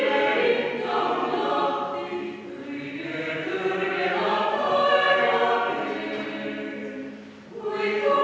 Aga meie tänased tegemised ei ole veel lõppenud.